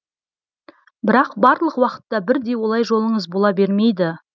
бірақ барлық уақытта бірдей олай жолыңыз бола бермейді